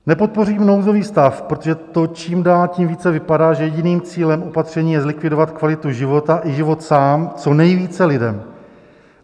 Nepodpořím nouzový stav, protože to čím dál tím více vypadá, že jediným cílem opatření je zlikvidovat kvalitu života i život sám co nejvíce lidem.